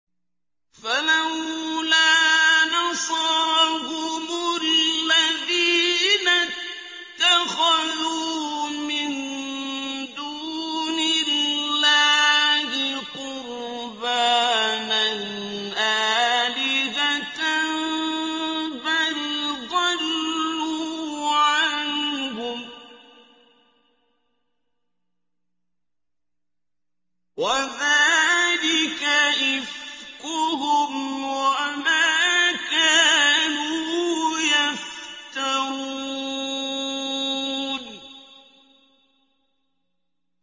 فَلَوْلَا نَصَرَهُمُ الَّذِينَ اتَّخَذُوا مِن دُونِ اللَّهِ قُرْبَانًا آلِهَةً ۖ بَلْ ضَلُّوا عَنْهُمْ ۚ وَذَٰلِكَ إِفْكُهُمْ وَمَا كَانُوا يَفْتَرُونَ